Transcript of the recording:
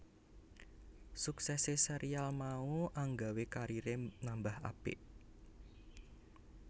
Suksesé serial mau anggawé kariré nambah apik